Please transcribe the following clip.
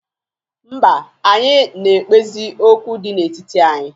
Mba, anyị na-ekpezi okwu dị n'etiti anyị.